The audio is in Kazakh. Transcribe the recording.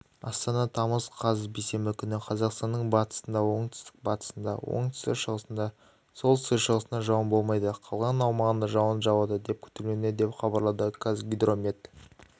астана тамыз қаз бейсенбі күні қазақстанның батысында оңтүстік-батысында оңтүстік-шығысында солтүстүстік-шығысында жауын болмайды қалған аумағында жауын жауады деп күтілуде деп хабарлады қазгидромет